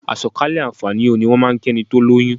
"Àsọ̀kalẹ̀ àǹfààní o" ni wọ́n máà ń kí ẹni tó lóyún.